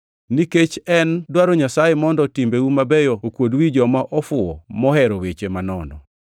Nikech en dwaro Nyasaye mondo timbeu mabeyo okuod wi joma ofuwo mohero weche manono.